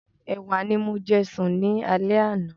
Ẹ̀wà ni mo jẹ sùn ní alẹ́ àná.